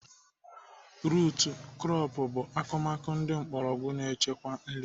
Rut krọp bụ akụmakụ ndị mgbọrọgwụ na-echekwa nri